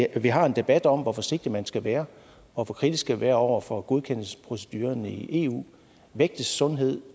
at vi har en debat om hvor forsigtig man skal være og hvor kritisk man skal være over for godkendelsesprocedurerne i eu vægtes sundheden